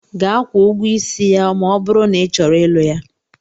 Gaa kwuo ụgwọ isi ya ma ọ bụrụ na ị chọrọ ịlụ ya!